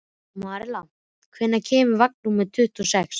Marinella, hvenær kemur vagn númer tuttugu og sex?